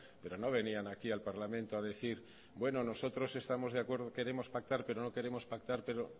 pero no venían aquí al parlamento a decir bueno nosotros estamos de acuerdo queremos pactar pero no queremos pactar pero